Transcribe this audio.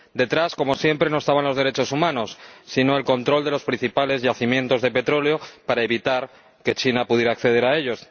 Detrás, como siempre, no estaban los derechos humanos, sino el control de los principales yacimientos de petróleo, para evitar que China pudiera acceder a ellos.